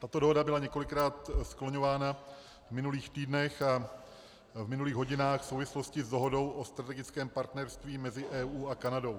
Tato dohoda byla několikrát skloňována v minulých týdnech a v minulých hodinách v souvislosti s dohodou o strategickém partnerství mezi EU a Kanadou.